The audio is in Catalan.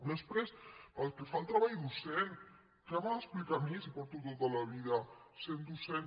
després pel que fa al treball docent què m’ha d’explicar a mi si tota la vida he estat docent